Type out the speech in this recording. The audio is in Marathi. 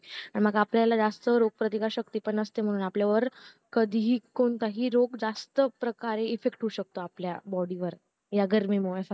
हा मग आपल्याला जास्त रोगप्रतिकार शक्ती पण नसते म्हणून आपल्यावर कधी कोणताही रोग जास्त प्रकारे effect करू शकतो आपल्या body वर ह्या गर्मी मुळे